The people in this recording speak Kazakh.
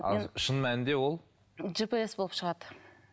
ал шын мәнінде ол жпс болып шығады